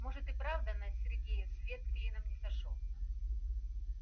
может и правда на сергее свет клином не сошёлся